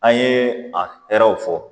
An ye a hɛrɛw fɔ